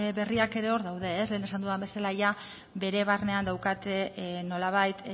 berriak ere hor daude lehen esan dudan bezala bere barnean daukate nolabait